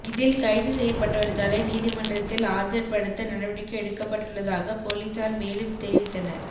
இதில் கைது செய்யப்பட்டவர்களை நீதிமன்றத்தில் ஆஜர்படுத்த நடவடிக்கை எடுக்கப்பட்டுள்ளதாக பொலிசார் மேலும் தெரிவித்தனர்